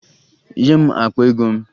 Nye m akpa ego m!